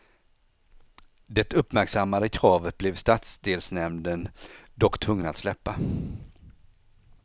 Det uppmärksammade kravet blev stadsdelsnämnden dock tvungen att släppa.